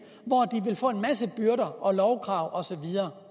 hvor en masse byrder og lovkrav og så videre